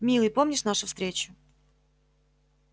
милый помнишь нашу встречу